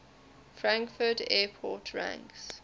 frankfurt airport ranks